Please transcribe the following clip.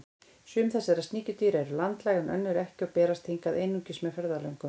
Sum þessara sníkjudýra eru landlæg en önnur ekki og berast hingað einungis með ferðalöngum.